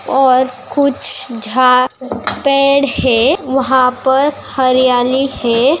और कुछ झा पेड़ है वहाँ पर हरियाली है।